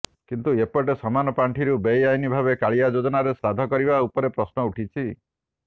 କିନ୍ତୁ ଏପଟେ ସମାନ ପାଣ୍ଠିରୁ ବେଆଇନ ଭାବେ କାଳିଆ ଯୋଜନାରେ ଶ୍ରାଦ୍ଧ କରିବା ଉପରେ ପ୍ରଶ୍ନ ଉଠିଛି